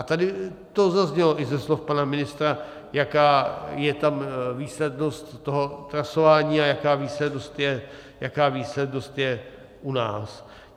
A tady to zaznělo i ze slov pana ministra, jaká je tam výslednost toho trasování a jaká výslednost je u nás.